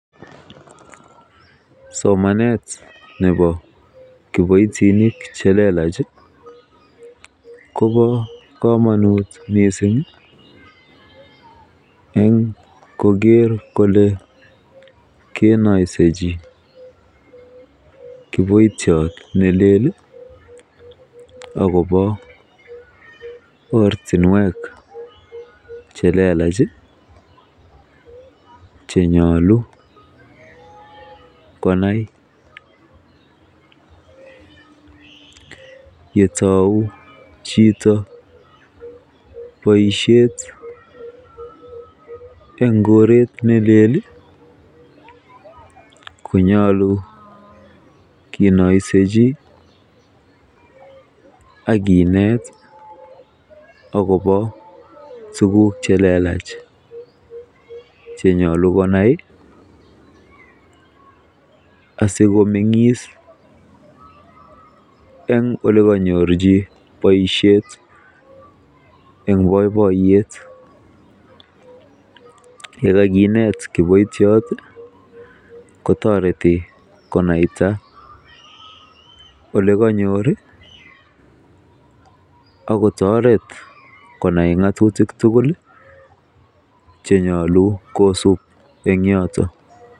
Somanet nebo kiboitinik che lelach kobo komonut mising amun koker kole keinoisechi kiboitiot ne lel agob ortinwek che lelach che nyolu konai yetou chito boisiiet en koret ne lel konyolu kinoisechi ak kinet agobo tuguk che lelach che nyolu konai asikomeng'is en ole kanyorchi boisiet en boiboiyet ye kaginet kiboitiot kotoretii konaita ole kanyor ak kotoret konai ng'atutik tugul chenyolu kosub en yoton.